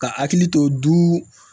Ka hakili to du